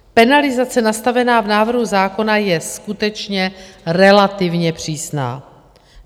Penalizace nastavená v návrhu zákona je skutečně relativně přísná.